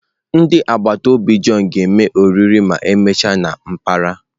Ndị agbata obi John ga-eme oriri ma emechaa na mpaghara.